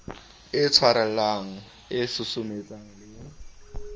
e tshwarellang e susumetsang le